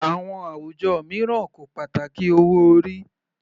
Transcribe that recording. Àwọn àwùjọ mìíràn kò pàtàkì owó orí.